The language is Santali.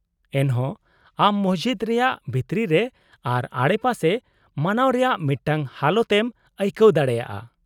-ᱮᱱᱦᱚᱸ, ᱟᱢ ᱢᱚᱥᱡᱤᱫ ᱨᱮᱭᱟᱜ ᱵᱷᱤᱛᱨᱤ ᱨᱮ ᱟᱨ ᱟᱰᱮᱯᱟᱥᱮ ᱢᱟᱱᱟᱣ ᱨᱮᱭᱟᱜ ᱢᱤᱫᱴᱟᱝ ᱦᱟᱞᱚᱛ ᱮᱢ ᱟᱹᱭᱠᱟᱹᱣ ᱫᱟᱲᱮᱭᱟᱜᱼᱟ ᱾